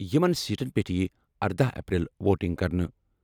یِمَن سیٹَن پٮ۪ٹھ یِیہِ اردہ اپریل ووٹنگ کرنہٕ۔